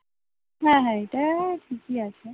হ্যাঁ হ্যাঁ এটাও ঠিকই আছে